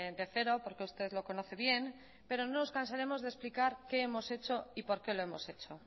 de cero porque usted lo conoce bien pero no nos cansaremos de explicar qué hemos hecho y por qué lo hemos hecho